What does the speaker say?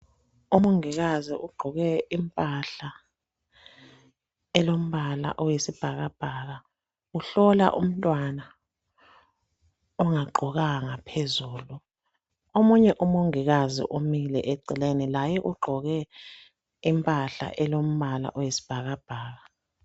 Umongikazi ogqoke impahla elombala oyisibhakabhaka uhlola umntwana ongagqokanga phezulu. Omunye umongikazi umile eceleni laye ugqoke impahla elombala oyisbhakabhaka.